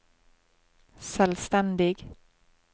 selvstendig